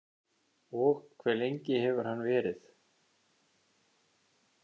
Og hve lengi hefur hann verið?